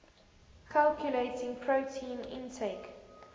calculating protein intake